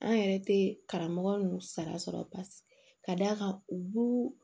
An yɛrɛ tɛ karamɔgɔ ninnu sara sɔrɔ ka d'a kan u b'u